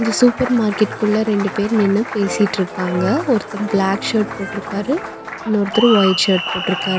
Super மார்க்கெட்குள்ள ரெண்டு பேர் நின்னு பேசிட்ருக்காங்க ஒருத்தர் பிளாக் ஷர்ட் போட்ருக்காரு இன்னொருத்தரு ஒயிட் ஷர்ட் போட்ருக்காரு.